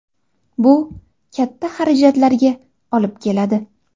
Bu katta xarajatlarga olib keladi.